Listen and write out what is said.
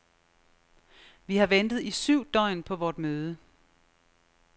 Vi har ventet i syv døgn på vort møde.